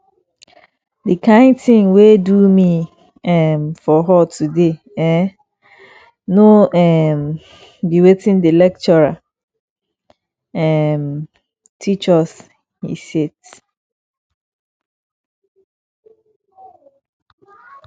the kin thing wey do me um for hall today eh no um be wetin the lecturer um teach us he set